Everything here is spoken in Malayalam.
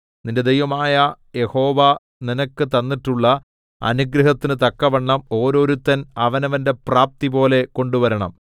നിന്റെ ദൈവമായ യഹോവ നിനക്ക് തന്നിട്ടുള്ള അനുഗ്രഹത്തിന് തക്കവണ്ണം ഓരോരുത്തൻ അവനവന്റെ പ്രാപ്തിപോലെ കൊണ്ടുവരണം